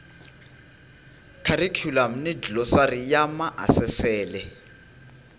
kharikhulamu ni glosari ya maasesele